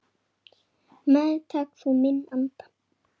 Meðtak þú minn anda.